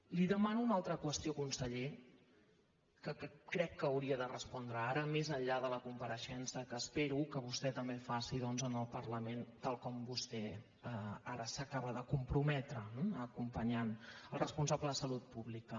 li demano una altra qüestió conseller que crec que hauria de respondre ara més enllà de la compareixença que espero que vostè també faci doncs al parlament tal com vostè ara s’hi acaba de comprometre eh acompanyant el responsable de salut pública